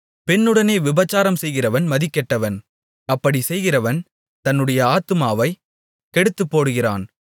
பெண்ணுடனே விபசாரம்செய்கிறவன் மதிகெட்டவன் அப்படிச் செய்கிறவன் தன்னுடைய ஆத்துமாவைக் கெடுத்துப்போடுகிறான்